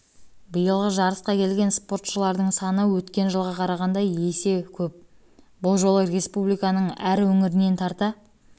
биылғы жарысқа келген спортшылардың саны өткен жылға қарағанда есе көп бұл жолы республиканың әр өңірінен тарта